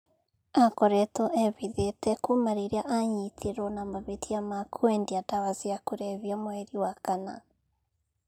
Aakoretwo ehithĩte kuuma rĩrĩa aanyitirũo na mahĩtia ma kwendia ndawa cia kũrebia mweri wa kana.